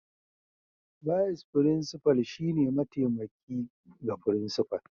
Bise Frincifal shine mataimaki ga Frincifal